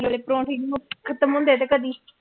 ਵਾਲੇ ਪਰੋਂਠੇ ਹੀ ਨੀ ਖਤਮ ਹੁੰਦੇ ਤੇ ਕਦੇ